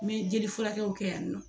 N mɛ jeli furakɛw kɛ yanni nɔ